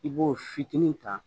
I b'o fitinin ta